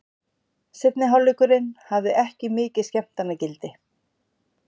Seinni hálfleikurinn hafði ekki mikið skemmtanagildi.